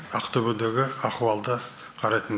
ақтөбедегі ахуалды қарайтын